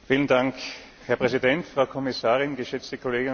Herr Präsident, Frau Kommissarin, geschätzte Kolleginnen und Kollegen!